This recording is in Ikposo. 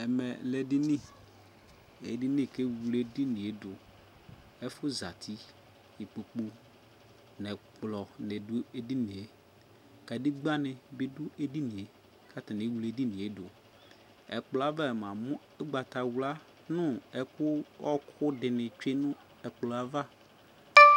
ɛmɛ lɛ edini kewle edinie duƐfu ʒati ikpoku ɛkplɔ ni du edinieKadegbani du edinie katani ewle edinie d Ɛkplɔava yamu ugbatawla nu ɛku ɔɔku dini twee nu ɛkplɔava